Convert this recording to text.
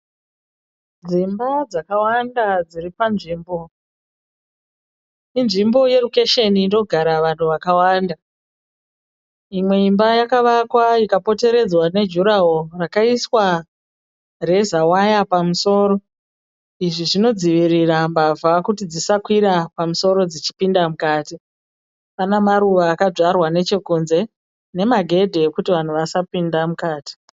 Dzimba dzakawanda dziri panzvimbo, inzvimbo yerukeshini inogara vanhu vakawanda. Imwe imba yakavakwa ikapoteredzwa nejuraworo rakaiswa rezawaya pamusoro izvi zvinodzivirira mbavha kuti dzisakawira pamusoro dzichipinda mukati. Pane maruva akadyarwa nechekunze, nemagedhe kuti vanhu vasapinda mukati.